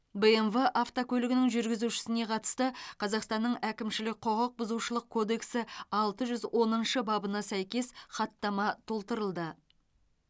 бмв автокөлігінің жүргізушісіне қатысты қазақстанның әкімшілік құқықбұзушылық кодексі алты жүз оныншы бабына сәйкес хаттама толтырылды